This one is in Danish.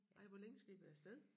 Ej hvor længe skal I være af sted?